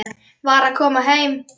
Var að koma heim.